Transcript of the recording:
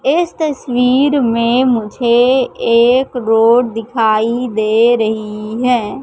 इस तस्वीर में मुझे एक रोड दिखाई दे रहीं हैं।